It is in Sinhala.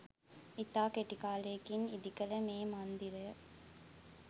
ඉතා කෙටි කාලයකින් ඉදි කළ මේ මන්දිරය